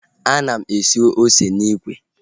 Ana m asụ ose n'ikwe